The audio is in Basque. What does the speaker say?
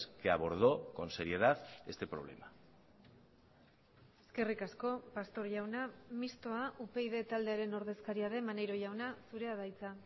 que abordó con seriedad este problema eskerrik asko pastor jauna mistoa upyd taldearen ordezkaria den maneiro jauna zurea da hitza